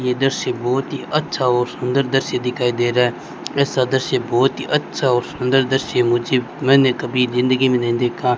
ये दृश्य बहुत ही अच्छा और सुंदर दृश्य दिखाई दे रहा है ऐसा दृश्य बहुत ही अच्छा और सुंदर दृश्य मुझे मैंने कभी जिंदगी में नहीं देखा।